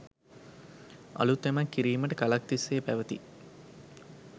අලුත් යමක්‌ කිරීමට කලක්‌ තිස්‌සේ පැවති